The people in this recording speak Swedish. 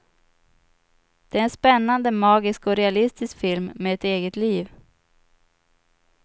Det är en spännande, magisk och realistisk film med ett eget liv.